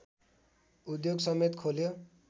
उद्योगसमेत खोल्यो